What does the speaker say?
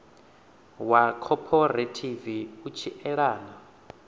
wa khophorethivi u tshi elana